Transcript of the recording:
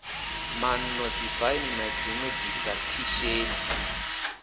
mano dzifaini na dzinwe dzisakhisheni